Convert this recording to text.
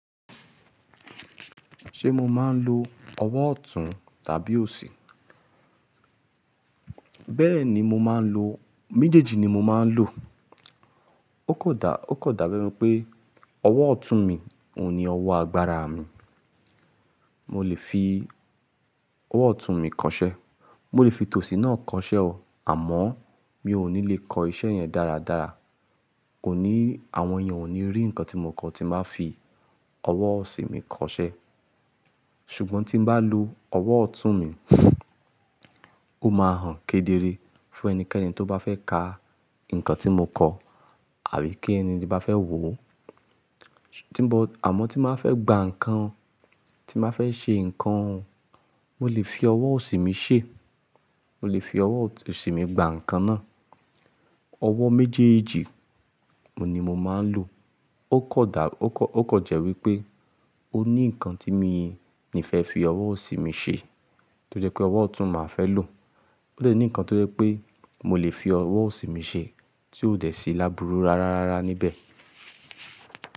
Ṣé mo máa ń lo ọwọ́ ọ̀tún tàbí òsì? Bẹ́ẹ̀ ni mo máa ń lo, méjèèjì ni mo máa ń lò. Ó kan dà, ó kan dà bẹ́ ẹ̀niipé ọwọ́ ọ̀tún mi òhun ni ọwọ́ agbára mi. Mo lè fi ọwọ́ ọ̀tún mi kọṣẹ́, mo lè fi tòsì náà kọṣẹ́ o, àmọ́ mi ò ní lè kọ iṣẹ́ yẹn dáradára. Kò ní, àwọn èèyàn ò ní rí nǹkan tí mo kọ tí n bá fi ọwọ́ òsì mi kọṣẹ́. Ṣùgbọ́n tí n bá lo ọwọ́ ọ̀tún mi, ó máa hàn kedere fún ẹnikẹ́ni tó bá fẹ́ ka nǹkan tí mo kọ àbí kí n tin bá fẹ́ wò ó. Tí mo, àmọ́ tí n bá fẹ́ gba nǹkan, tí n bá fẹ́ ṣe nǹkan, mo lè fi ọwọ́ òsì mi ṣe, mo lè fi ọwọ́ òsì mi gba nǹkan náà. Ọwọ́ méjèèjì òhun ni mo máa ń lò. Ó kan dà, ó kan jẹ́ wípé ó ní nǹkan tí mi n fẹ́ fi ọwọ́ òsì mi ṣe tó jẹ́ pé ọwọ́ ọ̀tún màá fẹ́ lò. Ó lè ní nǹkan tó jẹ́ pé mo lè fi ọwọ́ òsì mi ṣe tí ó dẹ̀ síi lábúrú rárárára níbẹ̀